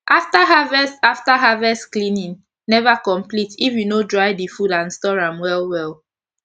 after harvest after harvest cleaning never complete if u no dry d food and store am well well